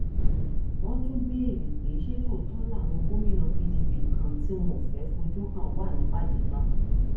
wọn tún béèrè pé ṣé lóòótọ làwọn gómìnà pdp kan tí wọn ò fẹẹ fojú hàn wà nípàdé náà